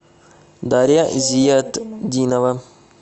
дарья зиятдинова